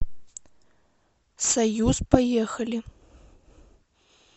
союз поехали